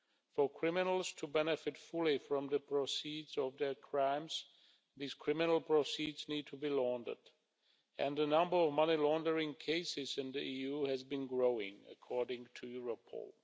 For criminals to benefit fully from the proceeds of their crimes, these criminal proceeds need to be laundered and the number of money laundering cases in the EU has been growing, according to Europol.